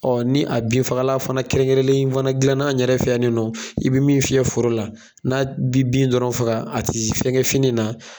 Ɔn ni a bin fagala fana kɛrɛnkɛrɛnnen fana dilanna an yɛrɛ fɛ yan ni nɔ , i be min fiyɛ foro la n'a bi bin dɔrɔn faga a ti fɛn kɛ fini na